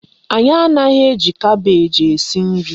Anyị anaghị eji kabeeji esi nri